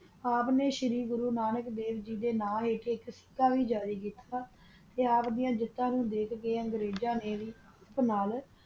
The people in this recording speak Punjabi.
ਆਪ ਨਾ ਸ਼ਾਰਿਗੋਰੋ ਨਾਨਕ ਦਾਵ ਗ ਦਾ ਨਾਲ ਏਕ ਏਕ ਸਾਰੀ ਦਰਿ ਜੁਕਤਾ ਕੀਤਿਆ ਆਪ ਦਿਯਾ ਜੁਕਤਾ ਨੂ ਅੰਗਾਰਾ ਨ ਵੀ ਅਪਣਿਆ